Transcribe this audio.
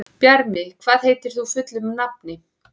Bjarmi, hvað heitir þú fullu nafni?